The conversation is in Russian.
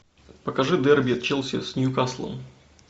покажи дерби челси с ньюкаслом